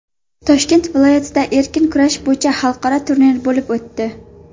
Toshkent viloyatida erkin kurash bo‘yicha xalqaro turnir bo‘lib o‘tdi.